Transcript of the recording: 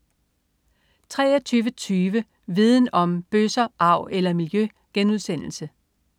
23.20 Viden Om: Bøsser, arv eller miljø?*